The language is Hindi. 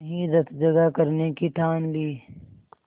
वहीं रतजगा करने की ठान ली